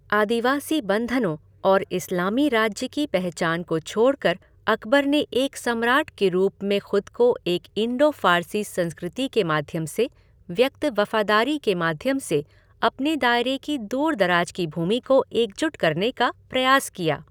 आदिवासी बंधनों और इस्लामी राज्य की पहचान को छोड़कर अकबर ने एक सम्राट के रूप में खुद को एक इंडो फ़ारसी संस्कृति के माध्यम से व्यक्त वफ़ादारी के माध्यम से अपने दायरे की दूर दराज़ की भूमि को एकजुट करने का प्रयास किया।